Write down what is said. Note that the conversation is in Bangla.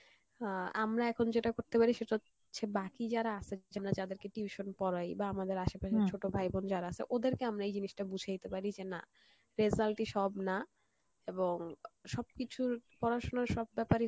আহ আমরা এখন যেটা করতে পরি সেটা হচ্ছে বাকি যারা আসে যেমন যাদের কে tuition পড়াই, বা আমাদের আশেপাশে ছোট ভাই বোন যারা আছে ওদেরকে আমরা এই জিনিস টা বুঝাইতে পারি যে না result ই সব না, এবং আহ সবকিছুর পড়াশোনার সব ব্যাপার